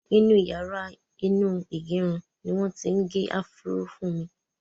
Inú yàrá inú ìgẹrun ni wọn ti ń gẹ afro fún mi.